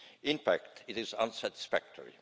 In fact it is unsatisfactory